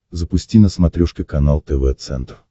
запусти на смотрешке канал тв центр